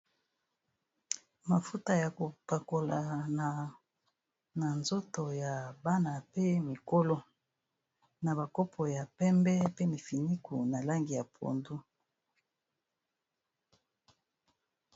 Mafuta ya kopakola na nzoto ya bana pe mikolo, na ba kopo ya pembe pe mifinuku na langi ya pondu.